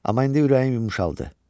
Amma indi ürəyim yumşaldı.